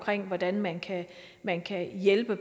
hvordan man kan man kan hjælpe